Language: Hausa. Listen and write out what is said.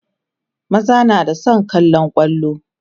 maza na da San kallan kwallo